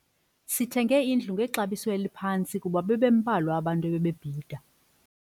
Sithenge indlu ngexabiso eliphantsi kuba bebembalwa abantu ebebebhida.